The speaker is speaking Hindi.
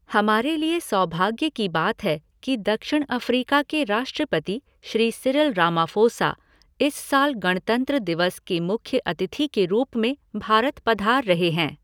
हमारे लिए सौभाग्य की बात है कि दक्षिण अफ़्रीका के राष्ट्रपति श्री सिरिल रामाफ़ोसा, इस साल गणतंत्र दिवस के मुख्य अतिथि के रूप में भारत पधार रहे हैं।